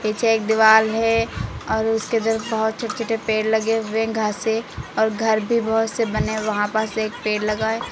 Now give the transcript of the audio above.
पीछे एक दीवाल है और उसके उधर बहुत छोटे छोटे पेड़ लगे हुए घासे और घर भी बहुत से बने वहां बस एक पेड़ लगा है।